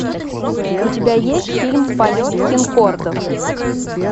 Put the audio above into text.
у тебя есть фильм полет конкордов